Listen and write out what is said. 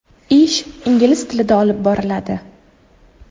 Ish ingliz tilida olib boriladi.